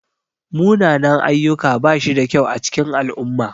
Munanan-ayyuka bashi da kyau a cikin al'umma.